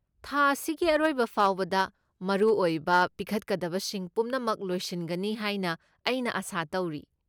ꯊꯥ ꯑꯁꯤꯒꯤ ꯑꯔꯣꯏꯕ ꯐꯥꯎꯕꯗ ꯃꯔꯨꯑꯣꯏꯕ ꯄꯤꯈꯠꯀꯗꯕꯁꯤꯡ ꯄꯨꯝꯅꯃꯛ ꯂꯣꯏꯁꯤꯟꯒꯅꯤ ꯍꯥꯏꯅ ꯑꯩꯅ ꯑꯥꯁꯥ ꯇꯧꯔꯤ꯫